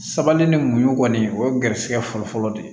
Sabali ni muɲu kɔni o ye garisigɛ fɔlɔfɔlɔ de ye